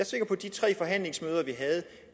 sikker på at de tre forhandlingsmøder vi havde